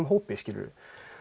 hópi skilurðu